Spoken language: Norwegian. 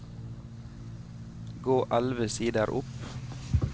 Gå elleve sider opp